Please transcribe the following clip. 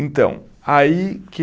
Então, aí que